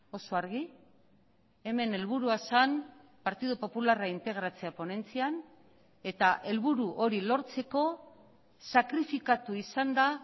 oso argi hemen helburua zen partidu popularra integratzea ponentzian eta helburu hori lortzeko sakrifikatu izan da